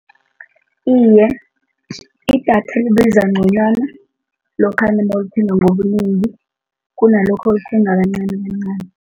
Iye, idatha libiza ngconywana lokhana nawulithenga ngobunengi kunalokha nawuyithenga kancanikancani.